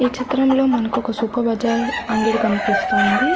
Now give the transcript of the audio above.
ఈ చిత్రం లో మనకొక సూపర్ బజార్ అంగడి కనిపిస్తోంది.